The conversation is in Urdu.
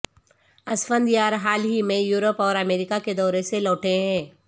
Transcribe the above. اسفندیار حال ہی میں یورپ اور امریکہ کے دورے سے لوٹے ہیں